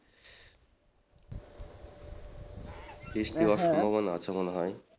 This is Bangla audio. বৃষ্টি হবার সম্ভাবনা আছে মনে হয়।